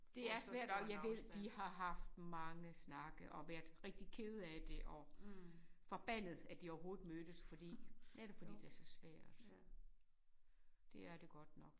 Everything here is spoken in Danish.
Det er svært og jeg ved de har haft mange snakke og været rigtig kede af det og forbandet at de overhovedet mødtes fordi netop fordi det så svært det er det godt nok